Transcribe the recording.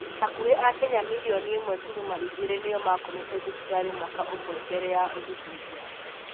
Hakuhĩ akenya milioni ĩmwe turuma igĩrĩ nĩo makomete thibitarĩ mwaka ũmwe mbere ya ũthuthuria